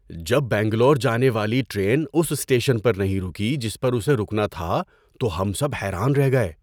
جب بنگلور جانے والی ٹرین اس اسٹیشن پر نہیں رکی جس پر اسے رکنا تھا تو ہم سب حیران رہ گئے۔